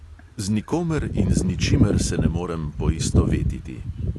Z nikomer in z ničimer se ne morem poistovetiti.